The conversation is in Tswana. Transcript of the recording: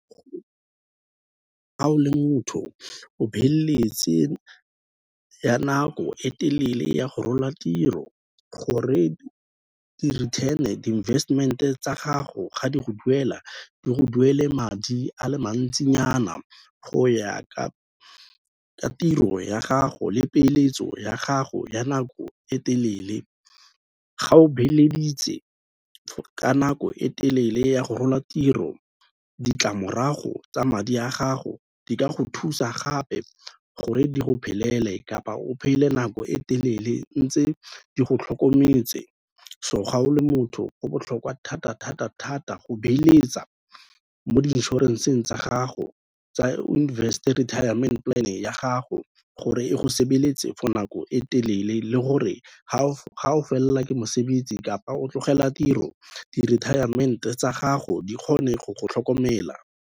Ha o le motho o beeletse ya nako e telele ya go rola tiro, gore di-investment-e tsa gago ga di go duela di go duele madi a le mantsinyana go ya ka tiro ya gago le peeletso ya gago ya nako e telele. Ga o beeleditse ka nako e telele ya go rola tiro ditlamorago tsa madi a gago di ka go thusa gape gore di go phelele kapa o phele nako e telele ntse di go tlhokometse, so ga o le motho go botlhokwa thata-thata-thata go beeletsa mo di-insurance-eng tsa gago, o invest-e retirement plan-e ya gago gore e go sebeletse for nako e telele le gore ga o felelela ke mosebetsi kapa o tlogela tiro di-retirement-e tsa gago di kgone go go tlhokomela.